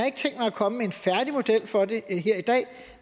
ikke tænkt mig at komme med en færdig model for det her i dag